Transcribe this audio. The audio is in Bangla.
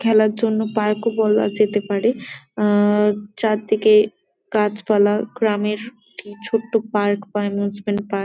খেলার জন্য পার্ক -ও বলা যেতে পারে আহ চারদিকে গাছপালা গ্রামের ছোট্ট পার্ক বা অ্যামিউজমেন্ট পার্ক ।